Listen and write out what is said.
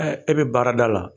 E bɛ baarada la